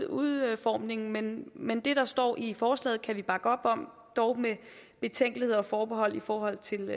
udformning men men det der står i forslaget kan vi bakke op om dog med betænkeligheder og forbehold i forhold til